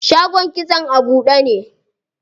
Shagon kitson a buɗe ne.